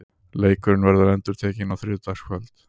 Leikurinn verður endurtekinn á þriðjudagskvöld.